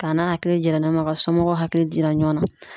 K'a n'a hakili yira ɲɔgɔn na ka somɔgɔw hakili jira ɲɔgɔn na.